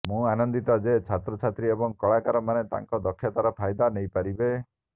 ମୁଁ ଆନନ୍ଦିତ ଯେ ଛାତ୍ରଛାତ୍ରୀ ଏବଂ କଳାକାର ମାନେ ତାଙ୍କ ଦକ୍ଷତାର ଫାଇଦା ନେଇପାରିବେ